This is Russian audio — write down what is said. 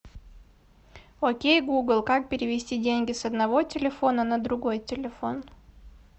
окей гугл как перевести деньги с одного телефона на другой телефон